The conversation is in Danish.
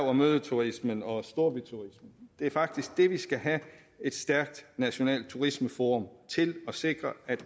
og mødeturismen og storbyturismen det er faktisk det vi skal have et stærkt nationalt turismeforum til at sikre